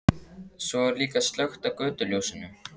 Svo er líka slökkt á götuljósinu.